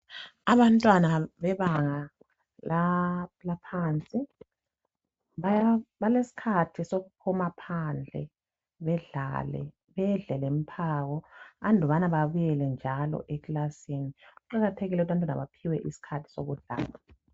Abantwana bebanga laphansi balesikhathi sokuphuma phandle bedlale bedle lemphako andubana babuyele njalo ekilasini. Kuqakathekile abantwana baphiwe isikhathi sokudlala.